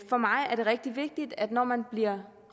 for mig er det rigtig vigtigt at når man bliver